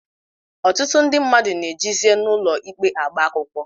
Ọtụtụ ndị mmadụ na-ejezi n'ụlọikpe agba akwụkwọ